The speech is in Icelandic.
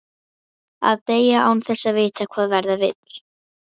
Að deyja, án þess að vita hvað verða vill.